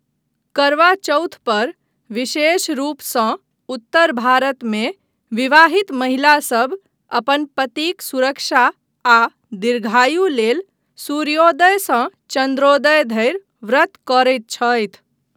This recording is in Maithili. करवा चौथ पर, विशेष रूपसँ उत्तर भारतमे विवाहित महिलासभ, अपन पतिक सुरक्षा आ दीर्घायु लेल सूर्योदयसँ चन्द्रोदय धरि व्रत करैत छथि।